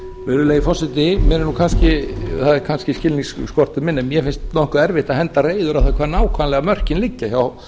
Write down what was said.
virðulegi forseti það er kannski skilningsskorti minn en mér finnst nokkuð erfitt að henda reiður á hvar nákvæmlega mörkin liggja hjá